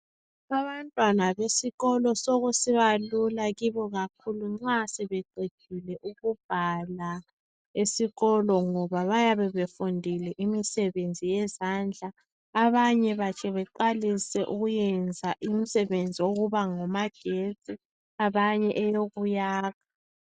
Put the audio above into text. Abantwana besikolo sokusiba lula kibo kakhulu nxa sebeqedile ukubhala esikolo ngoba bayabe befundile imisebenzi yezandla ,abanye batshe baqalisa ukuyenza imisebenzi yokuba ngomagetsi abanye eyokuyakha.